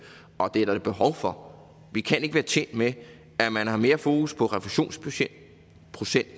og det er der da behov for vi kan ikke være tjent med at man har mere fokus på refusionsprocenten